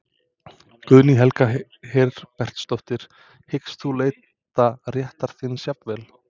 Guðný Helga Herbertsdóttir: Hyggst þú leita réttar þíns jafnvel?